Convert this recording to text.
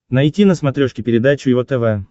найти на смотрешке передачу его тв